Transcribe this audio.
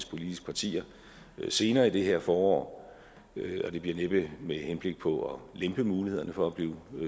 politiske partier senere i det her forår det bliver næppe med henblik på at lempe mulighederne for at blive